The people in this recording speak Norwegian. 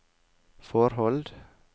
forhold